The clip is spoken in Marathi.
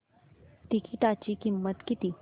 तिकीटाची किंमत किती